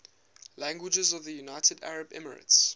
languages of the united arab emirates